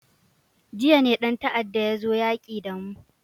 Jiya ne dan ta'adda ya zo yaki da mu.